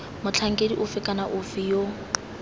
motlhankedi ofe kana ofe yo